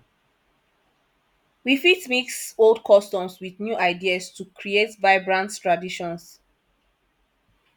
we fit mix old customs with new ideas to create vibrant traditions